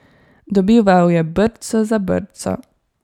Dobival je brco za brco.